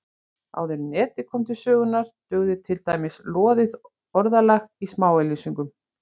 Áður en Netið kom til sögunnar dugði til dæmis loðið orðalag í smáauglýsingum.